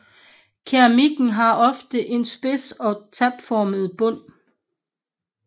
Keramikken har ofte en spids eller tapformet bund